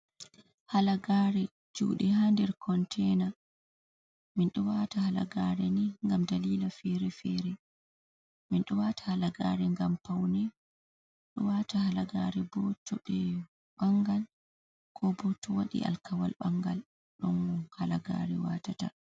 Halagare juude ha nder konteina. min do wata halagare ni gam dalila fere-fere. Min do wata halagare gam paune, do wata halagare bo tobe bangan ko bo to wadi alkawal bangal ɗon halagare watata.